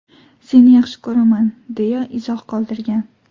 Seni yaxshi ko‘raman”, deya izoh qoldirgan.